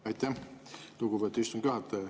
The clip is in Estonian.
Aitäh, lugupeetud istungi juhataja!